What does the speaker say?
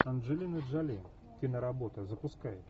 анджелина джоли киноработа запускай